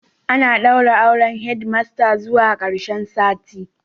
Ana daura auren Head master zuwa karshen sati